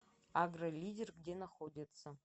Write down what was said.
агролидер где находится